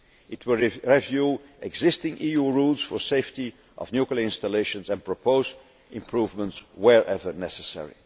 the year. It will review existing EU rules on the safety of nuclear installations and propose improvements wherever